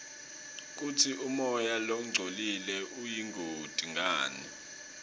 kutsi umoya longcolile uyingoti ngani